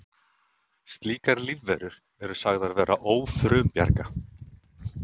Slíkar lífverur eru sagðar vera ófrumbjarga.